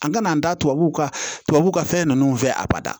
An kana an da tubabuw ka tubabuw ka fɛn nunnu fɛ abada